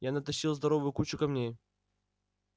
я натащил здоровую кучу камней